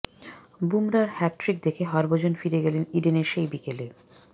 বুমরার hat trick দেখে হরভজন ফিরে গেলেন ইডেনের সেই বিকেলে